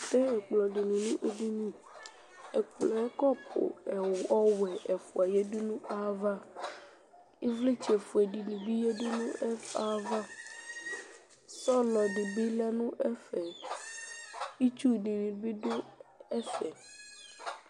Ɛwle ɛkplɔdini du nu edini ɛkplɔɛ kɔpu ɔwɛ ɛfua yadu nu ayava ivlitsɛ ofue dini bi yadu nu ɛkuɛ ayava sɔlɔ dibi yadu nu ɛfɛ itsu dini bi du ɛƒɛ